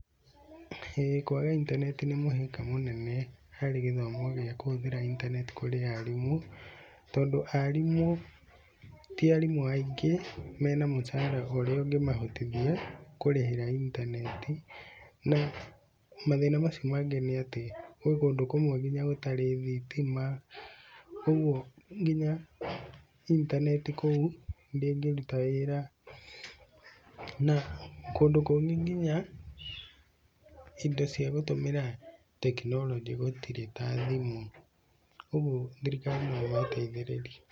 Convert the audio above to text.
ĩĩ kwaga intaneti nĩ mũhĩnga mũnene harĩ gĩthomo gĩa kũhũthĩra intaneti kũrĩ arimũ. Tondũ arimũ ti arimũ aingĩ mena mũcara ũrĩa ũngĩ mahotithia kũrĩhĩra itaneti. Na mathĩna macio mangĩ nĩ atĩ gwĩ kũndũ kũmwe nginya gũtarĩ thitima, ũguo nginya intaneti kũu ndĩngĩruta wĩra. Na kũndũ kũngĩ nginya indo cia gũtũmĩra tekinoronjĩ gũtirĩ ta thimũ ũguo thirikari no ĩmateithĩrĩrie.